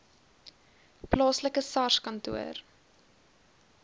plaaslike sars kantoor